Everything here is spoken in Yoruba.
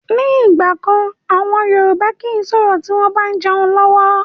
Ni ìgbàkan àwọn Yorùbá kii sọ̀rọ̀ tí wọn bá ń jẹun lọ́wọ́